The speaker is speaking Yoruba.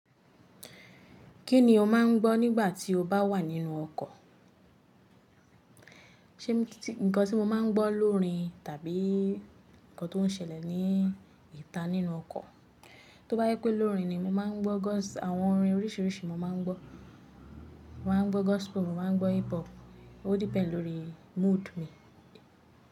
Kí ni o máà ń gbọ́ nígbà tí o bá wà nínú ọkọ̀? Ṣé nkan tí mo máa ń gbọ́ lórín tàbí nkan tó ń ṣẹlẹ̀ ní ìta nínú ọkọ̀? Tí ó bá jẹ pé lórín ni mo máa ń gbọ́ gospel, àwọn orin oríṣíríṣì mo máa ń gbọ́. Mo máa ń gbọ́ gospel, mo máa ń gbọ́ hip hop. Ó depend lórí mood mi.